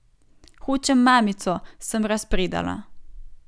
Hočem mamico, sem razpredala.